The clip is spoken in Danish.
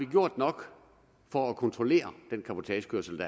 gjort nok for at kontrollere den cabotagekørsel